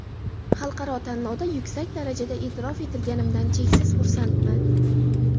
Xalqaro tanlovda yuksak darajada e’tirof etilganimdan cheksiz xursandman.